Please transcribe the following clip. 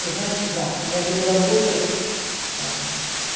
значит да я буду работать там